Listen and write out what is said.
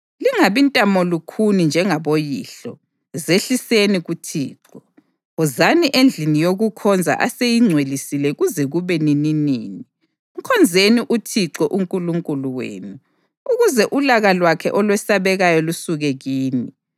Lingabi ntamolukhuni njengaboyihlo; zehliseni kuThixo. Wozani endlini yokukhonza aseyingcwelisile kuze kube nininini. Mkhonzeni uThixo uNkulunkulu wenu, ukuze ulaka lwakhe olwesabekayo lusuke kini.